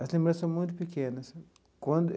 As lembranças são muito pequenas quando.